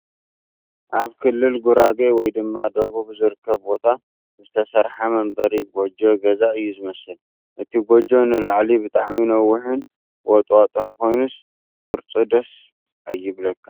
ኣብ ክልል ጉራጌ ወይ ድማ ደቡብ ዝርከብ ቦታ ዝተሰርሓ መንበሪ ጎጆ ገዛ እዩ ዝመስል ፡ እቲ ጎጆ ንላዕሊ ብጣዕሚ ነዊሕን ወጥዋጥን ኽይኑስ ቕርፁ ደስ ኣይብለካን ።